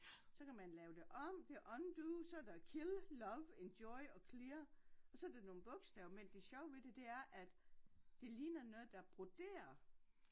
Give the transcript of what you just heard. Så kan man lave det om det undo så der kill love enjoy og clear og så der nogle bogstaver men det sjove ved det det er at det ligner noget der broderet